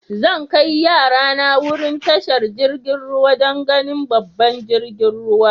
Zan kai yara na wurin tashar jirigin ruwa dan ganin babban jiragen ruwa.